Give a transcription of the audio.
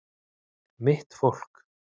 Mitt fólk